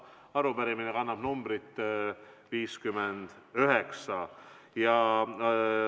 Arupärimine kannab numbrit 59.